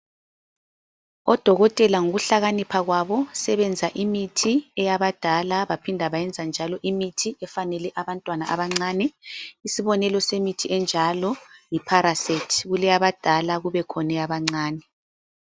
ODokotela ngokuhlakanipha kwabo sebenza imithi eyabadala baphinda benza njalo imithi efanele abantwana abancane. Isibonelo semithi enjalo yiParacet kukhona eyabadala kubekhona eyabancane.